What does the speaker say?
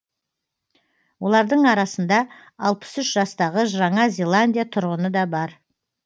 олардың арасында алпыс үш жастағы жаңа зеландия тұрғыны да бар